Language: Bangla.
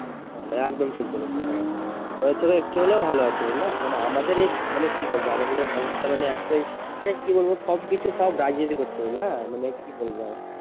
একদম ঠিক বলেছো হ্যাঁ আমাদের থেকে একটু হলেও ভালো আছে বুঝলা মানে আমাদের এই কি বলবো আমাদের এই ভারত টা মানে এতই মানে কি বলবো সব কিছুই সব মানে সব রাজনীতি করছে বুঝলা মানে কি বলবে আর